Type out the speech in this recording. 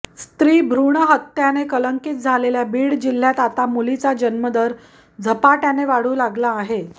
स्त्रीभ्रूण हत्याने कलंकित झालेल्या बीड जिल्ह्यात आता मुलीचा जन्मदर झपाट्याने वाढू लागला आहे